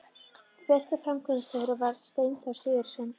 Fyrsti framkvæmdastjóri þess var Steinþór Sigurðsson.